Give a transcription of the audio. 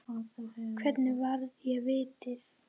Hvernig varði ég vítið?